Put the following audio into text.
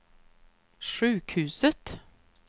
sjukhuset